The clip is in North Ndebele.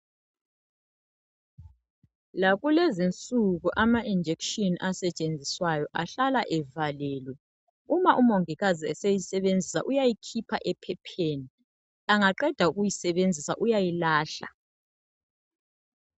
Lakulezinsuku ama injekshini asetshenziswayo ahlala evalelwe. Uma umongikazi eseyisebenzisa uyayikhipha ephepheni. Angaqeda ukuyisebenzisa uyayilahla.